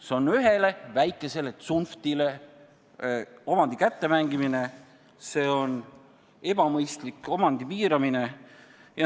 See on ühele väikesele tsunftile omandi kätte mängimine, see on ebamõistlik omandi piiramine.